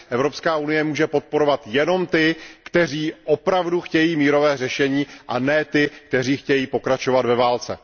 Evropská unie může podporovat jenom ty, kteří opravdu chtějí mírové řešení, a ne ty, kteří chtějí pokračovat ve válce.